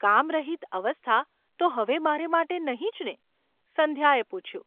કામ રહિત અવસ્થા ​ તો હવે મારે માટે નહિ જ ને ?’ સંધ્યાએ પૂછ્યું.